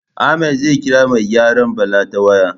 Ahmad zai ƙira mai gyaran Bala ta waya